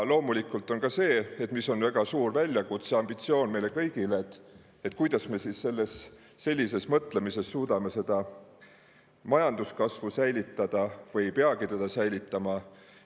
Loomulikult, väga suur väljakutse meile kõigile ja ambitsioon on see, kuidas me sellise mõtlemisega suudame majanduskasvu säilitada – või ehk ei peagi seda säilitama?